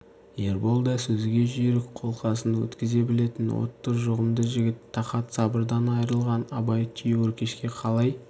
ербол да сөзге жүйрік қолқасын өткізе білетін отты жұғымды жігіт тақат сабырдан айрылған абай түйеөркешке қалай